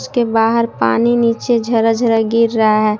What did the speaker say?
उसके बाहर पानी नीचे झरर झरर गिर रहा है।